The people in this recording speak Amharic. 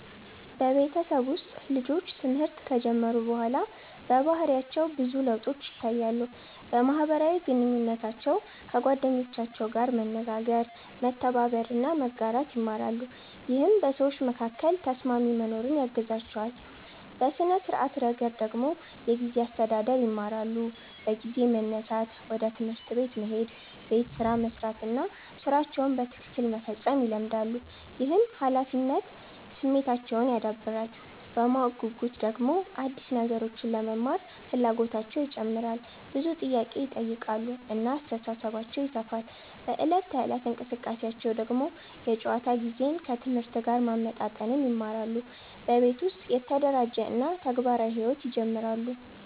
በቤተሰብ ውስጥ ልጆች ትምህርት ከጀመሩ በኋላ በባህሪያቸው ብዙ ለውጦች ይታያሉ። በማህበራዊ ግንኙነታቸው ከጓደኞቻቸው ጋር መነጋገር፣ መተባበር እና መጋራት ይማራሉ፣ ይህም በሰዎች መካከል ተስማሚ መኖርን ያግዛቸዋል። በሥነ-ስርዓት ረገድ ደግሞ የጊዜ አስተዳደር ይማራሉ፤ በጊዜ መነሳት፣ ወደ ትምህርት መሄድ፣ ቤት ስራ መስራት እና ሥራቸውን በትክክል መፈጸም ይለመዳሉ። ይህም ኃላፊነት ስሜታቸውን ያዳብራል። በማወቅ ጉጉት ደግሞ አዲስ ነገሮችን ለመማር ፍላጎታቸው ይጨምራል፣ ብዙ ጥያቄ ይጠይቃሉ እና አስተሳሰባቸው ይሰፋል። በዕለት ተዕለት እንቅስቃሴያቸው ደግሞ የጨዋታ ጊዜን ከትምህርት ጋር ማመጣጠን ይማራሉ፣ በቤት ውስጥ የተደራጀ እና ተግባራዊ ሕይወት ይጀምራሉ።